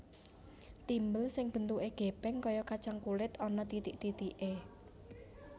Timbel sing bentuke gèpèng kaya kacang kulit ana titik titiké